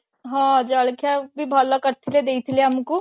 ହଁ ଜଳଖିଆ ବି ଭଲ କରି ଥିଲେ ଦେଇଥିଲେ ଆମକୁ